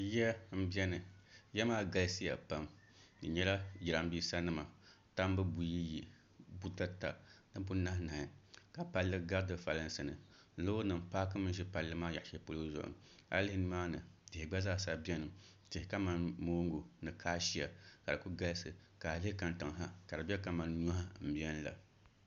Ya m-beni ya maa ɡalisiya pam di nyɛla jirambiisanima tambu buyiyi butata ni bunahinahi ka palli ɡari di folinsi ni loorinima paakimi ʒe palli maa yaɣ' shɛli polo zuɣu a yi lihi nimaani tihi ɡba zaa sa beni tihi kaman mooŋɡu ni kaashia ka di kuli ɡalisi ka a lihi kariŋa ha ka di be ka nyɔhi m-beni la